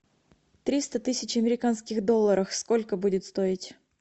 триста тысяч американских долларов сколько будет стоить